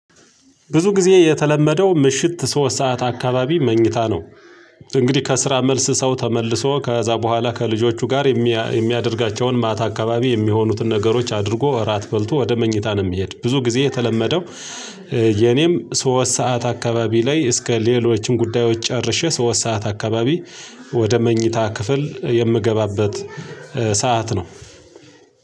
ብዙ ጊዜ የተለመደው ምሽት ሶስት ሰዓት አካባቢ መኝታ ነው። እንግዲህ ከስራ መልስ ሰው ተመልሶ ከዛ በኋላ ከልጆቹ ጋር የሚ የሚያደርጋቸውን ማታ አካባቢ የሚሆኑትን ነገሮች አድርጎ እራት በልቶ ወደ መኝታ ነው የሚሄድ ብዙ ጊዜ የተለመደው። የኔም ሶስት ሰዓት አካባቢ ላይ እስከ ሌሎችም ጉዳዮች ጨርሼ ሶስት ሰዓት አካባቢ ወደ መኝታ ክፍል የምገባበት። ሰዓት ነው።